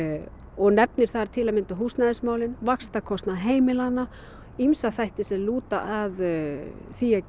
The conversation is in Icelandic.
og nefnir þar til að mynda húsnæðismálin vaxtakostnað heimilanna ýmsa þætti sem lúta að því að